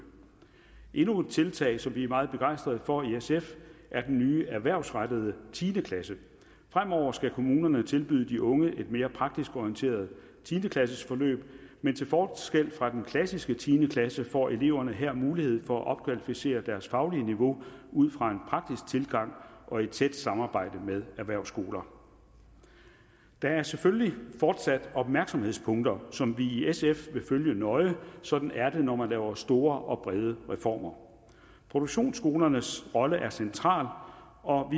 endnu et tiltag som vi er meget begejstret for i sf er den nye erhvervsrettede tiende klasse fremover skal kommunerne tilbyde de unge et mere praktisk orienteret tiende klassesforløb men til forskel fra den klassiske tiende klasse får eleverne her mulighed for at opkvalificere deres faglige niveau ud fra en praktisk tilgang og i tæt samarbejde med erhvervsskoler der er selvfølgelig fortsat opmærksomhedspunkter som vi i sf vil følge nøje sådan er det når man laver store og brede reformer produktionsskolernes rolle er central og